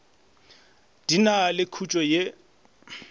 di na le khuetšo ye